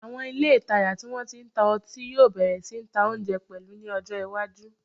Àwọn ilé ìtajà tí wọ́n ti ń ta ọtí yóò bẹ̀rẹ̀ sí ta oúnjẹ pẹ̀lú ní ọjọ́ iwájú